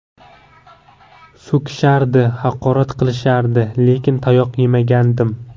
So‘kishardi, haqorat qilishardi, lekin tayoq yemagandim.